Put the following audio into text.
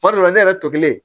Kuma dɔ la ne yɛrɛ to kelen